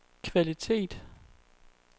kvalitet